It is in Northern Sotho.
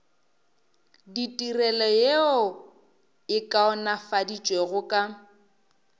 ditirelo yeo e kaonafaditšwego ka